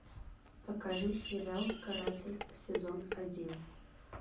покажи сериал каратель сезон один